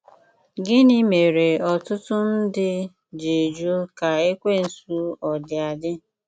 Gịnị mere ọtụtụ ndị ji jụ ka Ekwensu ọdi adị?